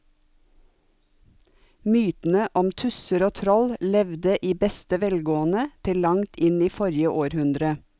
Mytene om tusser og troll levde i beste velgående til langt inn i forrige århundre.